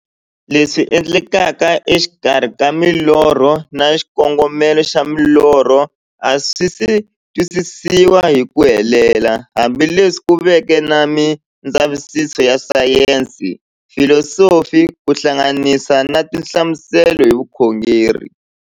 Leswi endlekaka e xikarhi ka milorho na xikongomelo xa milorho a swisi twisisiwa hi ku helela, hambi leswi ku veke na mindzavisiso ya sayensi, filosofi ku hlanganisa na tinhlamuselo hi vukhongori.